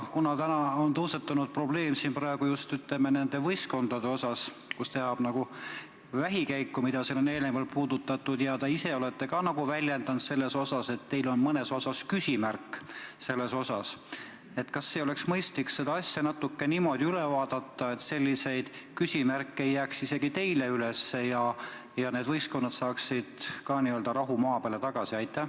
Kuna täna on tõusetunud probleem, siin praegu just nende võistkondadega, millega tehakse nagu vähikäiku, mida on eelnevalt puudutatud, ja te ise olete ka väljendanud, et teil on mõnes asjas küsimärk üleval, siis kas ei oleks mõistlik seda asja niimoodi üle vaadata, et selliseid küsimärke ei jääks isegi teil üles ja need võistkonnad saaksid ka n-ö rahu maa peale tagasi?